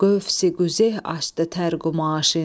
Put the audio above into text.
Qövsi-qüzeh açdı tər qumaşın.